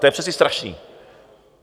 To je přece strašný!